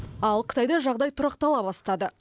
ал қытайда жағдай тұрақтала бастады